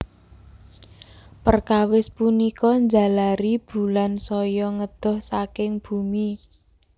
Perkawis punika njalari Bulan saya ngedoh saking bumi